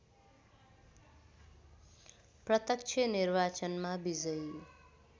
प्रत्यक्ष निर्वाचनमा विजयी